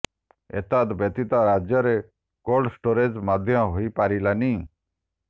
ଏତ୍ଦ ବ୍ୟତୀତ ରାଜ୍ୟରେ cold storage ମଧ୍ୟ ହୋଇ ପାରିଲାନି